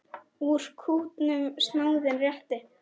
Úr kútnum snáðinn réttir.